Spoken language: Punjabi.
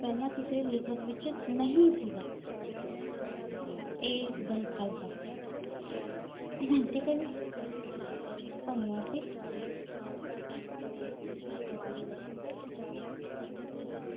ਪਹਿਲਾਂ ਕਿਸੇ ਲਿਖਤ ਵਿਚ ਨਹੀਂ ਸੀਗਾ, ਇਹ ਦਲ ਖਾਲਸਾ। ਠੀਕ ਆ ਜੀ, ਧੰਨਵਾਦ ਜੀ।